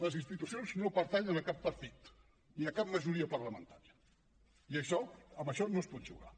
les institucions no pertanyen a cap partit ni a cap majoria parlamentària i amb això no es pot jugar